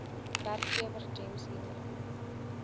werkgewer gems hiermee